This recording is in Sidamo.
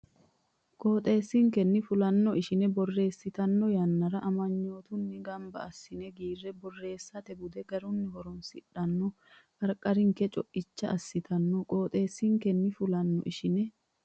Qooxeessinkenni fulanno ishine borreessitanno yannara amanyootunni gamba assine giira borreessate bude garunni horoonsidhanno qarqaranke co icha assitanno Qooxeessinkenni fulanno ishine.